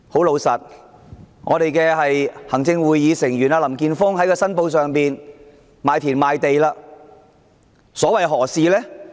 老實說，行政會議成員林健鋒議員申報自己已賣田賣地，所為何事？